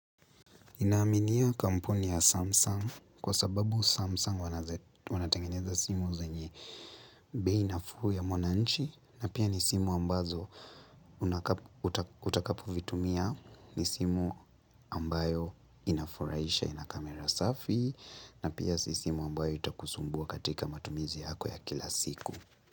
Naminia kampuni ya Samsung kwa sababu Samsung wanatengeneza simu zenye bei nafuu ya mwananchi na pia ni simu ambazo utakapovitumia ni simu ambayo inafuraisha ina kamera safi na pia si simu ambayo itakusumbua katika matumizi yako ya kila siku.